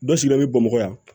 Dɔ sigila bɛ bamakɔ yan